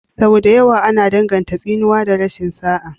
Sau da yawa ana danganta tsinuwa da rashin sa'a.